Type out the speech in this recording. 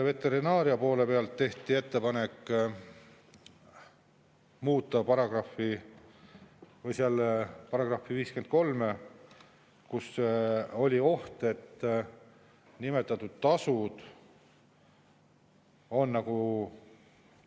Veterinaaria poole pealt tehti ettepanek muuta § 53, kus oli oht, et nimetatud tasud on nagu …